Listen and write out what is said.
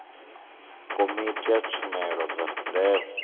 komiti ya tshumelo dza ndeme